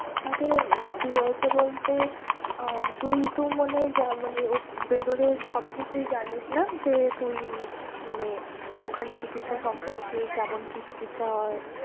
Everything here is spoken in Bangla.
আরে কি হয়েছে বলতে আহ তুই তো মনে Vellore সব কিছুই জানিস না যে তুই উম মানে ওখানে চিকিৎসা সম্পর্কে কেমন কি চিকিৎসা হয়।